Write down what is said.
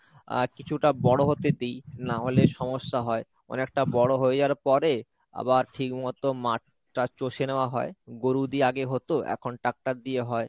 আহ কিছুটা বড় হতে দিই না হলে সমস্যা হয়, অনেকটা বড় হয়ে যাওয়ার পরে আবার ঠিক মতো মাঠটা চষে নেওয়া হয়, গরু দিয়ে আগে হতো এখন tractor দিয়ে হয়।